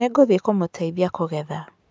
Nĩngũthiĩ kũmũteithia kũgetha.